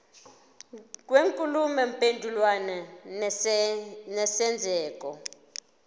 kwenkulumo mpendulwano nesenzeko